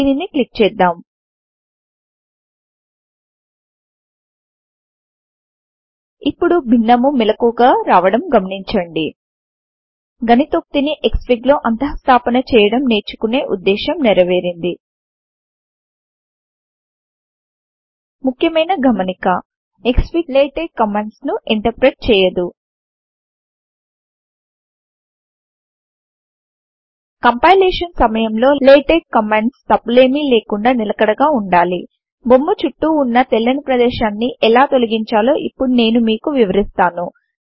దీనిని క్లిక్ చేద్దాం ఇప్పుడు భిన్నము మెళకువగా రావడం గమనించండి గణితోక్తి ని క్స్ఫిగ్ లో అంతఃస్థాపన చేయడం నేర్చుకునే ఉద్దేశం నిరవేరింది ముక్యమైన గమనిక క్స్ఫిగ్ లాటెక్స్ కమాండ్స్ ను ఇంటర్ప్రెట్ చేయదు పీడీఫ్లాటెక్స్ కమాండ్ ద్వారా ఇంటర్ప్రిటేషన్ అవుతుంది కంపైలేషన్ సమయములో లాటెక్స్ కమాండ్స్ తప్పులేమి లేకుండా నిలకడగా వుండాలి బొమ్మ చుట్టూ వున్నా తెల్లని ప్రదేశాన్ని ఎలా తొలగించాలో ఇప్పుడు నేను మీకు వివరిస్తాను